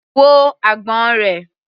Wo agbọ̀n rẹ̀.